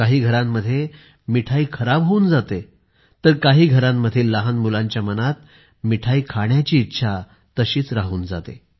काही घरांमध्ये मिठाई खराब होऊन जाते तर काही घरांमधील लहान मुलांच्या मनात मिठाई खाण्याची इच्छा तशीच राहून जाते